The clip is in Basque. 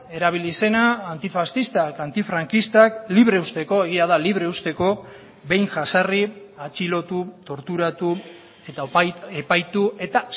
erabili zena antifaxistak antifrankistak libre uzteko egia da libre uzteko behin jazarri atxilotu torturatu eta epaitu eta